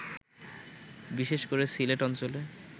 বিশেষ করে সিলেট অঞ্চলে